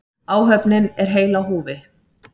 Áhöfnin er heil á húfi